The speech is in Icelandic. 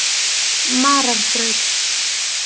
Mararbraut